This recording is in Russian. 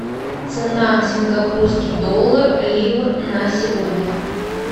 цена сингапурский доллар ливр на сегодня